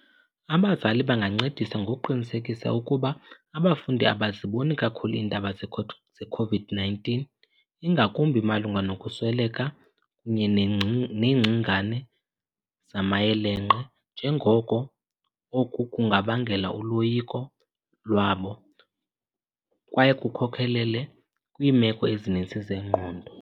Abazali bangancedisa ngoqinisekisa ukuba abafundi abaziboni kakhulu iindaba ze-COVID-19, ingakumbi malunga nokusweleka kunye neengcingane zamayelenqe, njengoko oku kungabangela uloyiko lwabo kwaye kukhokelele kwiimeko ezininzi zengqondo.